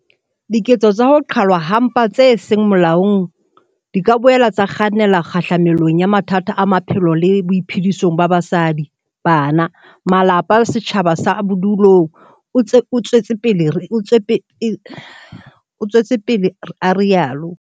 "Diketso tsa ho qhalwa ha mpa tse seng molaong di ka boela tsa kgannela kgahlamelong ya mathata a maphelong le boiphedisong ba basadi, bana, malapa le setjhaba sa bodulong," o tswetse pele a rialo.